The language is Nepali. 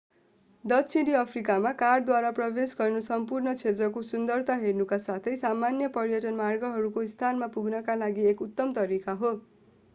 दक्षिणी अफ्रिकामा कारद्वारा प्रवेश गर्नु सम्पूर्ण क्षेत्रको सुन्दरता हेर्नका साथै सामान्य पर्यटन मार्गहरूको स्थानमा पुग्नका लागि एक उत्तम तरिका हो